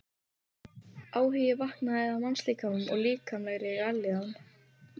Áhugi vaknaði á mannslíkamanum og líkamlegri vellíðan.